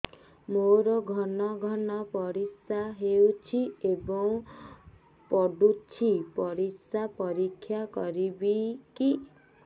ମୋର ଘନ ଘନ ପରିସ୍ରା ହେଉଛି ଏବଂ ପଡ଼ୁଛି ପରିସ୍ରା ପରୀକ୍ଷା କରିବିକି